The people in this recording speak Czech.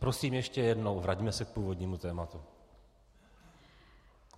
Prosím ještě jednou, vraťme se k původnímu tématu.